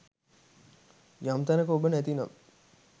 යම් තැනක ඔබ නැති නම්